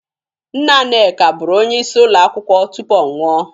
Nna Nneka bụrụ onyeisi ụlọ akwụkwọ tupu ọ nwụọ